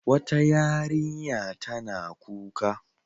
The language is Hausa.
Wata yarinya tana kuka.